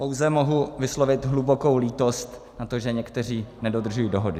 Pouze mohu vyslovit hlubokou lítost nad tím, že někteří nedodržují dohodu.